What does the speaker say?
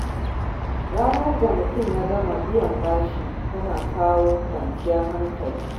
Ranar da mutum ya gama biyan bashi tana kawo kwanciyar hankali.